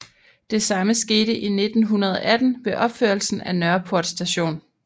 Det samme skete i 1918 ved opførelsen af Nørreport Station